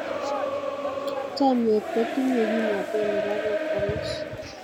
Chomnyet kotinyei kimnatet nebo kong'us.